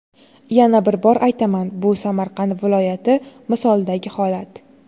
Yana bir bor aytaman -- bu Samarqand viloyati misolidagi holat.